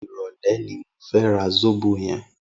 Irọlẹ̀ ni mó fè rà sóbó yèn